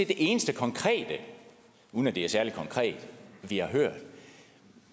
det eneste konkrete uden at det er særlig konkret vi har hørt